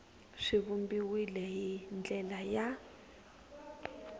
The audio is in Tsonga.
swi vumbiwile hi ndlela ya